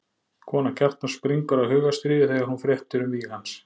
Kona Kjartans springur af hugstríði þegar hún fréttir um víg hans.